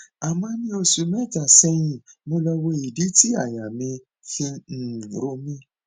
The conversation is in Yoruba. àmọ ní oṣù mẹta sẹyìn mo lọ wo ìdí tí àyà fi ń um ro mí